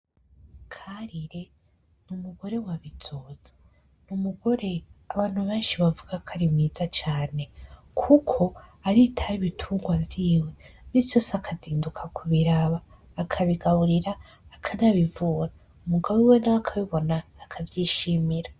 Karire n'umugore wa Bizoza, umugore abantu benshi bavuga ko ari mwiza cane kuko aritaho ibitugwa vyiwe, imisi yose akazinduka kubiraba akabigaburira ,akanabivura, umugabo wiwe nawe akabibona akavyishimira.